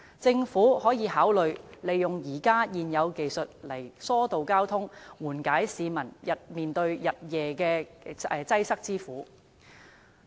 政府可以考慮利用現有技術疏導交通，以緩解市民日夜面對的擠塞之苦。